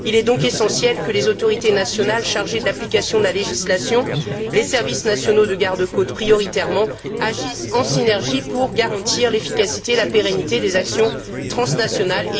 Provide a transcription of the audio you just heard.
Il est donc essentiel que les autorités nationales chargées de l'application de la législation les services nationaux de garde côtes prioritairement agissent en synergie pour garantir l'efficacité et la pérennité des actions transnationales.